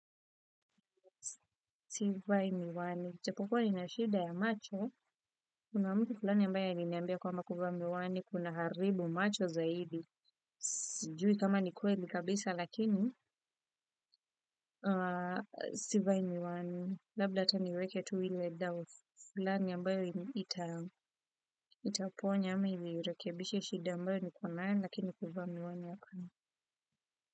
Sivai miwani. Japokuwa ni na shida ya macho. Kuna mtu fulani ambaye a liniambia kwamba kuvaamiwani. Kuna haribu macho zaidi. Sijui kama ni kweli kabisa lakini. Sivai miwani. Labda tuniweke tuile doubt. Fulani ambayo itaponya. Amainirekebishie shida ambayo nikonayo lakini kivaamiwani hapana.